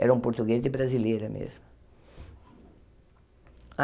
eram portugueses e brasileira mesmo.